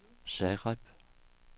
Zagreb